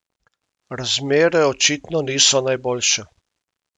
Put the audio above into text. Razmere očitno niso najboljše!